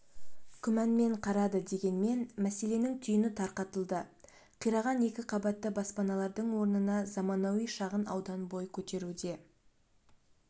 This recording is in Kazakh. күмәнмен қарады дегенмен мәселенің түйіні тарқатылды қираған екіқабатты баспаналардың орнына заманауи шағын аудан бой көтеруде